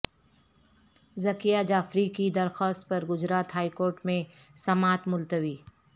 ذکیہ جعفری کی درخواست پر گجرات ہائی کورٹ میں سماعت ملتوی